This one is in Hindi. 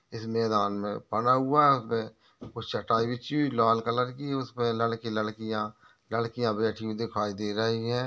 इस मैदान मे पड़ा हुआ आगे कुछ चटाई बिछी हुई लाल कलर की है उसपे लड़के लड़कियाँ लड़कियाँ बैठी हुई दिखाई दे रही है।